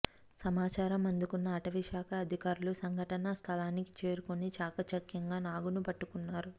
సమాచారం అందుకున్న అటవీశాఖ అధికారులు సంఘటనాస్థలానికి చేరుకుని చాకచక్యంగా నాగును పట్టుకున్నారు